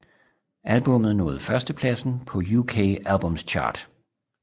Albummet nåede førstepladsen på UK Albums Chart